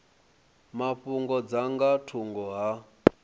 mafhungo dza nga thungo ha